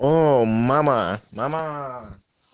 о мама мама